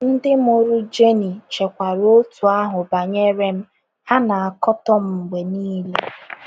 Ndị mụrụ Jeni chekwara otú ahụ banyere m — ha na - akatọ m mgbe niile.